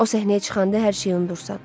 O səhnəyə çıxanda hər şeyi unudursan.